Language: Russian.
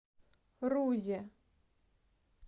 рузе